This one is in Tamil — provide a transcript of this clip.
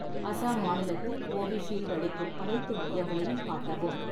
அசாம் மாநிலத்தில் கோவிஷீல்டு அளிக்கும் அனைத்து மையங்களையும் காட்டவும்